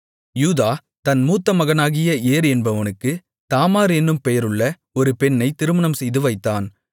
யூதா தன் மூத்த மகனாகிய ஏர் என்பவனுக்குத் தாமார் என்னும் பெயருள்ள ஒரு பெண்ணைத் திருமணம் செய்துவைத்தான்